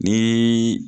Ni